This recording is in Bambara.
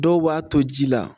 Dɔw b'a to ji la